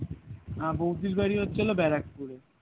আহ বৌদি বাড়ি হচ্ছিল ব্যারাকপুরে